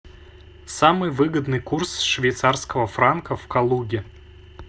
самый выгодный курс швейцарского франка в калуге